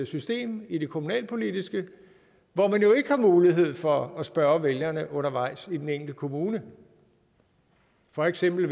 system i det kommunalpolitiske hvor man jo ikke har mulighed for at spørge vælgerne undervejs i den enkelte kommune for eksempel i